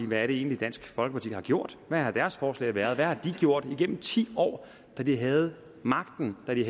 hvad er det egentlig dansk folkeparti har gjort hvad har deres forslag været hvad har de gjort igennem ti år da de havde magten da de